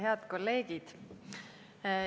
Head kolleegid!